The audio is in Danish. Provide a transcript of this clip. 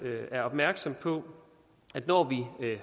er opmærksom på at når vi